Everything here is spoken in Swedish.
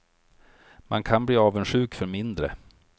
Man kan bli avundsjuk för mindre.